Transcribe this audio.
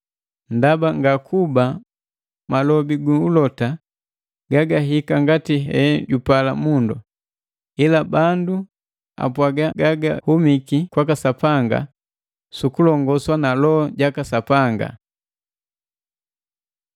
Ndaba ngakuba malobi gu ulota gagahika ngati he jupala mundu, ila bandu apwaga gagagahumiki kwaka Sapanga su kulongoswa na Loho jaka Sapanga.